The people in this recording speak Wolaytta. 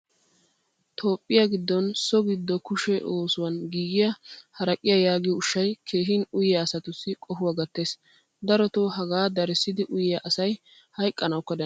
Toophphiyaa giddon so giddo kushshe oosuwan giigiyaa haraqqiyaa yaagiyo ushshay keehin uyiya asatussi qohuwaa gatees. Daroto haga darissidi uyiya asay hayqqanawukka danddayees.